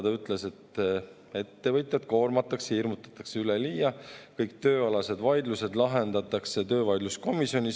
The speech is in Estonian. Ta ütles, et ettevõtjaid koormatakse ja hirmutatakse üleliia, kõik tööalased vaidlused lahendatakse töövaidluskomisjonis.